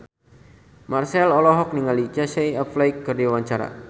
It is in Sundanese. Marchell olohok ningali Casey Affleck keur diwawancara